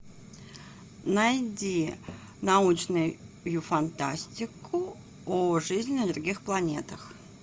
найди научную фантастику о жизни на других планетах